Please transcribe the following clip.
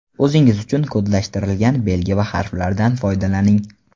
O‘zingiz uchun kodlashtirilgan belgi va harflardan foydalaning.